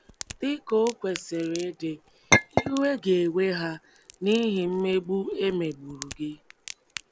Dị ka o kwesịrị ịdị, iwe ga - ewe ha n’ihi mmegbu e megburu gị.